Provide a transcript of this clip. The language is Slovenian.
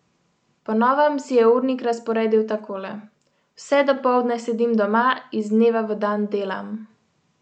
Po novem si je urnik razporedil takole:" Vse dopoldne sedim doma, iz dneva v dan delam.